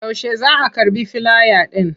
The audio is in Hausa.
Yaushe za a karɓi filaya ɗin?